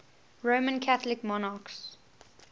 roman catholic monarchs